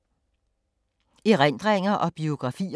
Erindringer og biografier